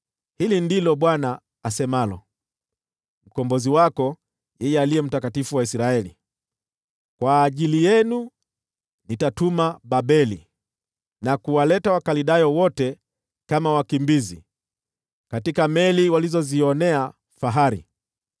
Hili ndilo Bwana asemalo, Mkombozi wako, yeye Aliye Mtakatifu wa Israeli: “Kwa ajili yenu nitatumana Babeli na kuwaleta Wakaldayo wote kama wakimbizi, katika meli walizozionea fahari.